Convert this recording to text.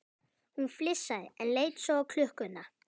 Hún flissaði, en leit svo á klukkuna.